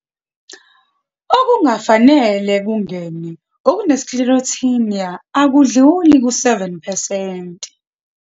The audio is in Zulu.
Okungafanele kungene okune-Sclerotinia akudluli ku7 percent.